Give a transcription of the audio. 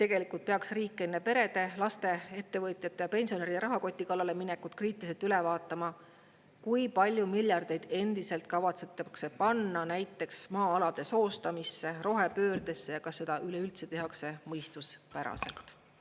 Tegelikult peaks riik enne perede, laste, ettevõtjate ja pensionäride rahakoti kallale minekut kriitiliselt üle vaatama, kui palju miljardeid endiselt kavatsetakse panna näiteks maa-alade soostamisse, rohepöördesse ja kas seda üleüldse tehakse mõistuspäraselt.